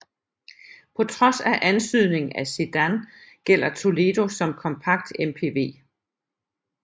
På trods af antydningen af sedan gælder Toledo som kompakt MPV